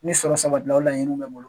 Ni sɔrɔ sabati la o laɲiniw bɛ bɔ.